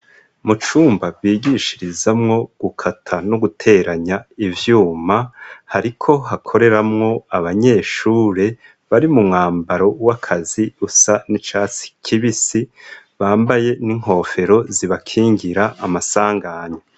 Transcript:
Mu cumba bigishirizamwo gukata no guteranya ivyuma hariko hakoreramwo abanyeshure bari mu mwambaro w'akazi rusa n'icasi kibisi bambaye n'inkofero zibakingira amasanganya.